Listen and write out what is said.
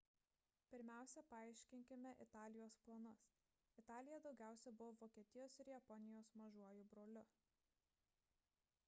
pirmiausia paaiškinkime italijos planus italija daugiausia buvo vokietijos ir japonijos mažuoju broliu